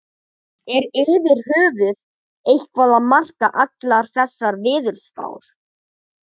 Er yfir höfuð eitthvað að marka allar þessar veðurspár?